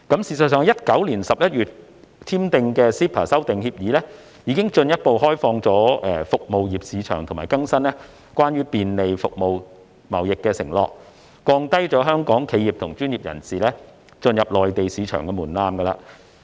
事實上 ，2019 年11月21日簽署的 CEPA 修訂協議已進一步開放服務業市場和更新關於便利服務貿易的承諾，並降低香港企業和專業人士進入內地市場的門檻。